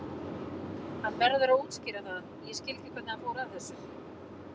Hann verður að útskýra það, ég skil ekki hvernig hann fór að þessu.